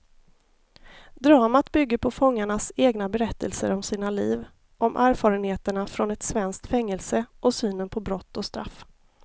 Dramat bygger på fångarnas egna berättelser om sina liv, om erfarenheterna från ett svenskt fängelse och synen på brott och straff.